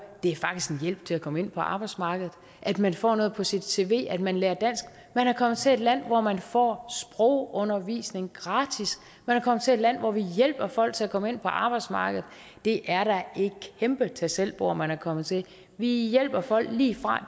det er faktisk en hjælp til at komme ind på arbejdsmarkedet at man får noget på sit cv at man lærer dansk man er kommet til et land hvor man får sprogundervisning gratis man er kommet til et land hvor vi hjælper folk til at komme ind på arbejdsmarkedet det er da et kæmpe tag selv bord man er kommet til vi hjælper folk lige fra